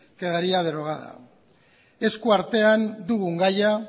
quedaría derogada esku artean dugun gaia